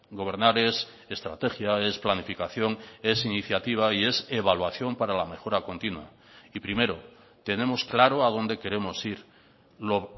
gobernar es estrategia es planificación es iniciativa y es evaluación para la mejora continua y primero tenemos claro a dónde queremos ir lo